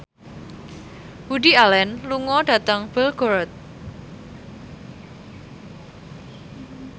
Woody Allen lunga dhateng Belgorod